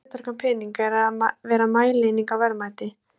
Eitt af hlutverkum peninga er að vera mælieining á verðmæti.